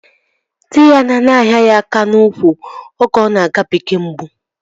Dị ya nọ na-ahịa ya aka n'úkwù oge ọ na-agabiga mgbu